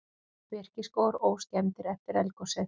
Birkiskógar óskemmdir eftir eldgosið